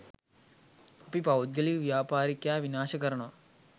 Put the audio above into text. අපි පෞද්ගලික ව්‍යාපාරිකයා විනාශ කරනවා